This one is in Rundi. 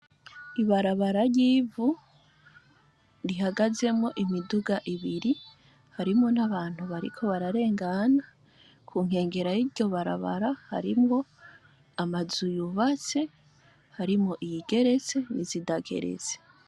Ibarabara ry'ivu, rihagazemw' imidug' ibiri, harimwo n' abantu bariko bararengana, kunkengera yiryo barabara harimw' amazu y'ubatse, harimw' iyigeretse n'izitageretse.